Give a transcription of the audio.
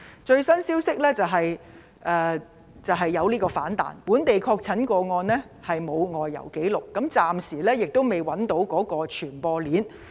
最新消息是疫情出現反彈，該本地確診個案沒有外遊紀錄，暫時未能找出傳播鏈。